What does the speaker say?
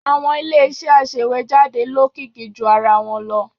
Àwọn Ilé-iṣẹ́ aṣèwéjádé lókìkí ju ara wọn lọ.